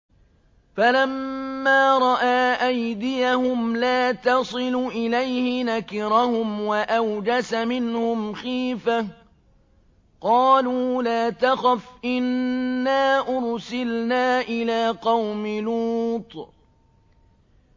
فَلَمَّا رَأَىٰ أَيْدِيَهُمْ لَا تَصِلُ إِلَيْهِ نَكِرَهُمْ وَأَوْجَسَ مِنْهُمْ خِيفَةً ۚ قَالُوا لَا تَخَفْ إِنَّا أُرْسِلْنَا إِلَىٰ قَوْمِ لُوطٍ